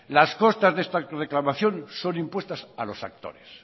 las costas de esta reclamación son impuestas a los actores